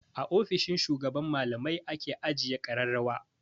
A ofishin shugaban malamai ake ajiye ƙararrawa.